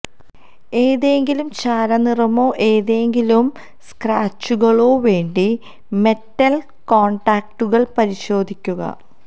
ഏതെങ്കിലും ചാരനിറമോ ഏതെങ്കിലും സ്ക്രാച്ചുകളോ വേണ്ടി മെറ്റൽ കോൺടാക്റ്റുകൾ പരിശോധിക്കുക